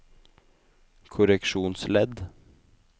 korreksjonsledd